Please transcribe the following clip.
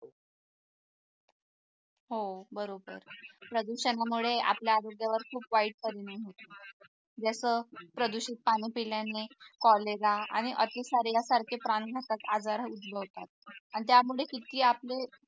हो बरोबर प्रदूषणामुळे आपल्या आरोग्यावर खूप वाईट परिणाम होतो जसा प्रदूषित पाणी पिल्याने cholera आणि अतिसार यासारखे प्राण घातक आजार उद्भवतात आणि त्यामुळे किती आपले